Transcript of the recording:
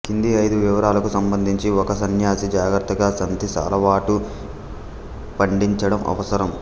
కింది ఐదు వివరాలకు సంబంధించి ఒక సన్యాసి జాగ్రత్తగా సంతి అలవాటు పండించడం అవసరం